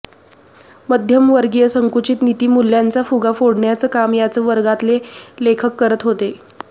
मध्यमवर्गीय संकुचित नीतिमूल्यांचा फुगा फोडण्याचं काम याच वर्गातले लेखक करत होते